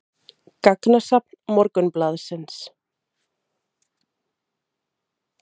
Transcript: Gagnasafn Morgunblaðsins.